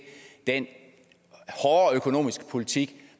den hårde økonomiske politik